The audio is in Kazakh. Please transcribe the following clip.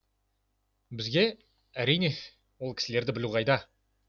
бізге әрине ол кісілерді білу қайда